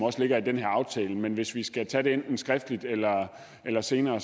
ligger i den her aftale men hvis vi skal tage det enten skriftligt eller eller senere